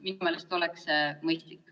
Minu meelest oleks see mõistlik.